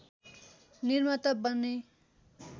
निर्माता बने